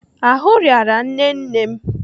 Ahụ rịara nne nne m.